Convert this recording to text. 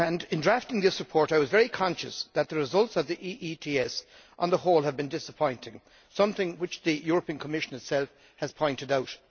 In drafting this report I was very conscious that the results of the EETS on the whole have been disappointing, something which the European Commission itself has pointed out.